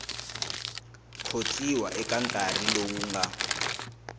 khotsiwa eka nkarhi lowu nga